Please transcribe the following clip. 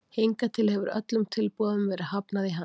Hingað til hefur öllum tilboðum verið hafnað í hann.